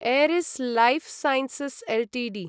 Eris lifesciences Ltd